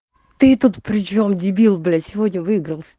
ты тут причём дебил блять сегодня выиграл